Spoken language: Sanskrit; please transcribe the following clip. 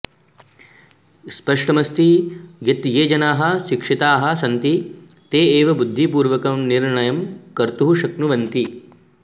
स्पष्टमस्ति यत् ये जनाः शिक्षिताः सन्ति ते एव बुद्धिपूर्वकं निर्णयं कर्तुं शक्नुवन्ति